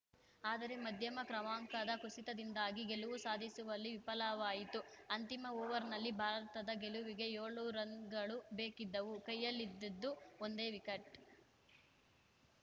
ಆದರೆ ಮಧ್ಯಮ ಕ್ರಮಾಂಕದ ಕುಸಿತದಿಂದಾಗಿ ಗೆಲುವು ಸಾಧಿಸುವಲ್ಲಿ ವಿಫಲವಾಯಿತು ಅಂತಿಮ ಓವರ್‌ನಲ್ಲಿ ಭಾರತದ ಗೆಲುವಿಗೆ ಏಳು ರನ್‌ಗಳು ಬೇಕಿದ್ದವು ಕೈಯಲ್ಲಿದ್ದಿದ್ದು ಒಂದೇ ವಿಕಟ್‌